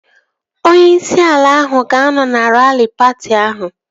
Onye isi ala ahụ ga-anọ na raari patị ahụ